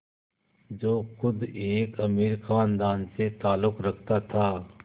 जो ख़ुद एक अमीर ख़ानदान से ताल्लुक़ रखता था